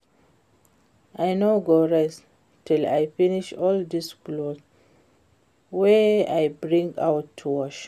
I no go rest till I finish all dis cloth wey I bring out to wash